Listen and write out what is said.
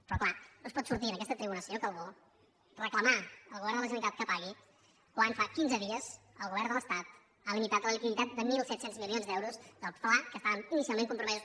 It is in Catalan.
però clar no es pot sortir a aquesta tribuna senyor calbó i reclamar al govern de la generalitat que pagui quan fa quinze dies el govern de l’estat ha limitat la liquiditat de mil set cents milions d’euros del fla que estaven inicialment compromesos